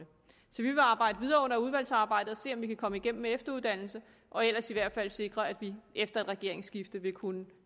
arbejde videre under udvalgsarbejdet og se om vi kan komme igennem med efteruddannelse og ellers i hvert fald sikre at vi efter et regeringsskifte vil kunne